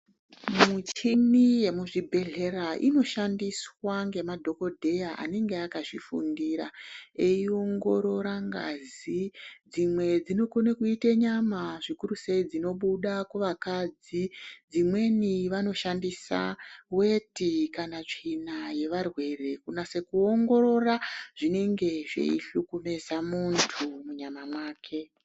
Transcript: Muchini yemu zvibhedhlera ino shandiswa nge madhokodheya anenge akazvi fundira eyi ongorora ngazi dzimwe dzino kone kuite nyama zvikuru sei zvino buda ku vakadzi dzimweni vano shandisa weti kana tsvina ye varwere kunase ku ongorora zvinenge zvei hlupu veza muntu munyama mwake.